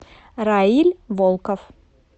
раиль волков